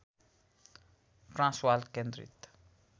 Transvaal केन्द्रित